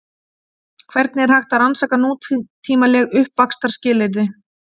Hvernig er hægt að rannsaka nútímaleg uppvaxtarskilyrði?